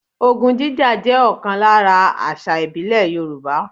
Ogun jíjà jẹ́ ọ̀kan lára àṣà ìbílẹ̀ Yòrùbá